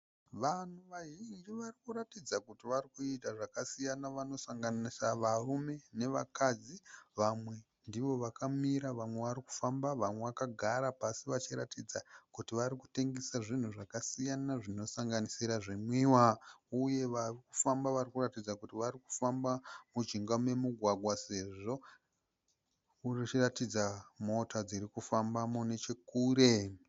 Vanhu vazhinji varikuratidza kuti varikuita zvakasiyana vanosanganisa varume nevakadzi. Vamwe ndivo vakamira vamwe varikufamba vamwe vakagara pasi vachiratidza kuti varikutengesa zvinhu zvakasiyana zvinosanganisira zvinwiwa uye varikufamba varikuratidza kuti varikufamba mujinga memugwagwa sezvo muchiratidza mota dzirikufambamo nechekure.